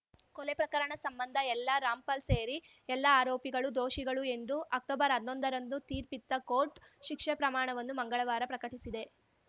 ಕೊಲೆ ಪ್ರಕರಣ ಸಂಬಂಧ ಎಲ್ಲ ರಾಮ್‌ಪಾಲ್‌ ಸೇರಿ ಎಲ್ಲ ಆರೋಪಿಗಳು ದೋಷಿಗಳು ಎಂದು ಅಕ್ಟೊಬರ್ಹನ್ನೊಂದರಂದು ತೀರ್ಪಿತ್ತ ಕೋರ್ಟ್‌ ಶಿಕ್ಷೆ ಪ್ರಮಾಣವನ್ನು ಮಂಗಳವಾರ ಪ್ರಕಟಿಸಿದೆ